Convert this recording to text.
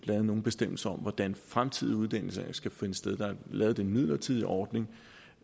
lavet nogen bestemmelser om hvordan den fremtidige uddeling skal finde sted der er lavet den midlertidige ordning